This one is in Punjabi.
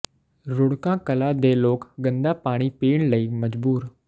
ਰੁੜਕਾ ਕਲਾਂ ਦੇ ਲੋਕ ਗੰਦਾ ਪਾਣੀ ਪੀਣ ਲਈ ਮਜਬੂਰ